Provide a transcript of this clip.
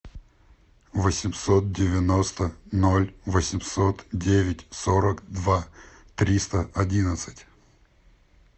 восемьсот девяносто ноль восемьсот девять сорок два триста одиннадцать